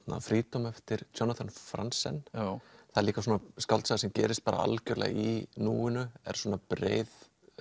freedom eftir Jonathan Franzen það er líka svona skáldsaga sem gerist algjörlega í núinu er svona breið